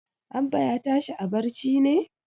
Abba ya tashi a barci ne?